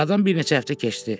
Aradan bir neçə həftə keçdi.